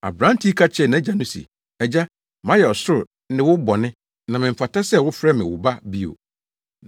“Aberante yi ka kyerɛɛ nʼagya no se, ‘Agya, mayɛ ɔsoro ne wo bɔne, na memfata sɛ wofrɛ me wo ba bio.’